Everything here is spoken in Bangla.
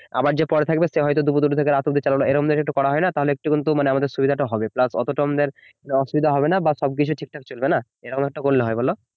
আবার যা পড়ে থাকবে দুটো থেকে রাত অব্দি চালালো এরকম যদি করা হয় না তাহলে আমাদের একটুকুন সুবিধাটা হবে, প্লাস অতটাও আমাদের অসুবিধা হবে না বা সবকিছু ঠিকঠাক চলবে না এরকম একটা করলে হয় বলো